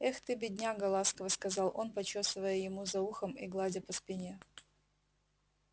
эх ты бедняга ласково сказал он почёсывая ему за ухом и гладя по спине